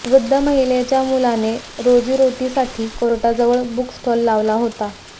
वृद्ध महिलेच्या मुलाने रोजीरोटीसाठी कोर्टाजवळ बुक स्टॉल लावला होता